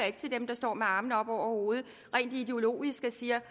ikke til dem der står med armene op over hovedet rent ideologisk og siger